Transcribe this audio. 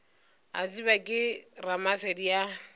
a tsebja ke ramasedi a